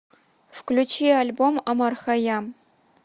включи альбом омар хайям